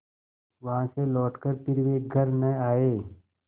वहाँ से लौटकर फिर वे घर न आये